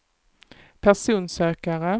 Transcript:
personsökare